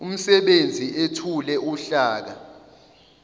umsebenzi ethule uhlaka